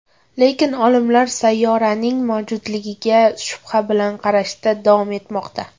Lekin olimlar sayyoraning mavjudligiga shubha bilan qarashda davom etmoqda.